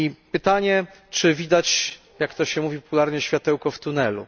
Pytanie czy widać, jak to się mówi popularnie, światełko w tunelu?